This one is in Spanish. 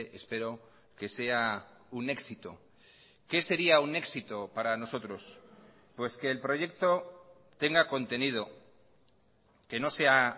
espero que sea un éxito qué sería un éxito para nosotros pues que el proyecto tenga contenido que no sea